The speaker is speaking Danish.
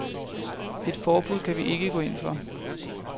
Et forbud kan vi ikke gå ind for.